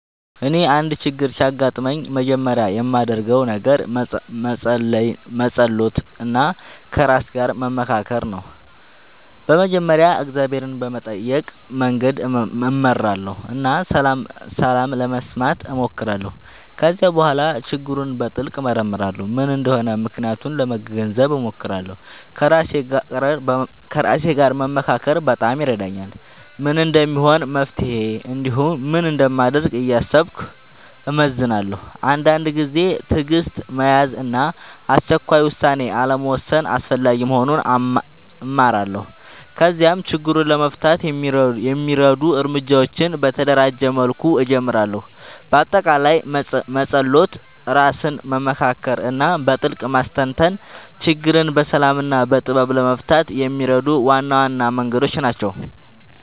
እኔ አንድ ችግር ሲያጋጥምኝ መጀመሪያ የማደርገው ነገር መጸሎት እና ከራሴ ጋር መመካከር ነው። በመጀመሪያ እግዚአብሔርን በመጠየቅ መንገድ እመራለሁ እና ሰላም ለመስማት እሞክራለሁ። ከዚያ በኋላ ችግሩን በጥልቅ እመርመራለሁ፤ ምን እንደሆነ ምክንያቱን ለመገንዘብ እሞክራለሁ። ከራሴ ጋር መመካከር በጣም ይረዳኛል፤ ምን እንደሚሆን መፍትሄ እንዲሁም ምን እንደማደርግ እያሰብኩ እመዝናለሁ። አንዳንድ ጊዜ ትዕግሥት መያዝ እና አስቸኳይ ውሳኔ አልመውሰድ አስፈላጊ መሆኑን እማራለሁ። ከዚያም ችግሩን ለመፍታት የሚረዱ እርምጃዎችን በተደራጀ መልኩ እጀምራለሁ። በአጠቃላይ መጸሎት፣ ራስን መመካከር እና በጥልቅ ማስተንተን ችግርን በሰላም እና በጥበብ ለመፍታት የሚረዱ ዋና ዋና መንገዶች ናቸው።